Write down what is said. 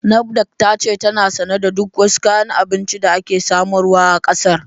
NAFDAC ta ce tana sane da duk wasu kayan abinci da ake samarwa a ƙasar